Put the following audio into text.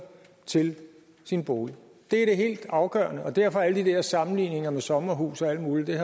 til sin bolig det er helt afgørende derfor har alle de der sammenligninger med sommerhuse og alt muligt